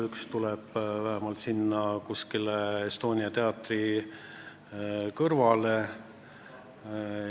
Üks tuleb kuskile Estonia teatri kõrvale.